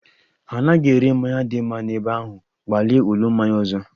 Ha anaghị ere mmanya dị mma n'ebe ahụ, gbalịa ulo mmanya ọzọ